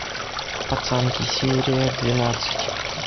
пацанки серия двенадцать